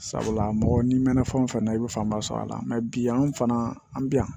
Sabula mɔgɔ n'i mɛna fɛn o fɛn na i bɛ fanba sɔrɔ a la bi an fana an bi yan